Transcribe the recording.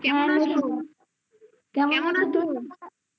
কেমন আছো কেমন আছো